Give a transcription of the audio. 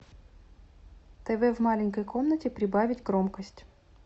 тв в маленькой комнате прибавить громкость